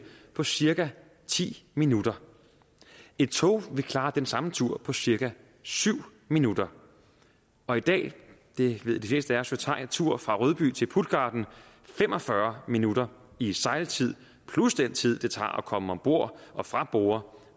på cirka ti minutter et tog vil klare den samme tur på cirka syv minutter og i dag det ved de fleste af os vel tager en tur fra rødby til puttgarden fem og fyrre minutter i sejltid plus den tid det tager at komme ombord og fra borde